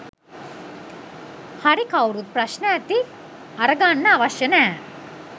හරි කවුරුත් ප්‍රශ්න ඇති අර ගන්න අවශ්‍ය නෑ.